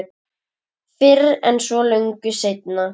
Fyrr en svo löngu seinna.